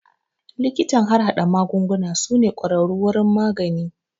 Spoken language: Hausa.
Likitan harhaɗa magunguna su ne kwararru wurin magani